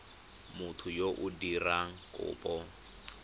motho yo o dirang kopo